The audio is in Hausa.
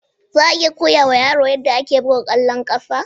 Za a iya koya wa yaro yadda ake buga ƙwallon ƙafa?